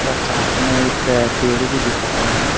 और साथ में एक पेड़ भी दिख रहे है।